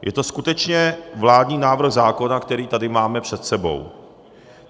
Je to skutečně vládní návrh zákona, který tady máme před sebou.